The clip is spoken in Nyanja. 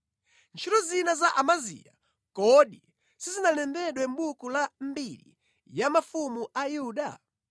Ntchito zina za Amaziya, kodi sizinalembedwe mʼbuku la mbiri ya mafumu a Yuda?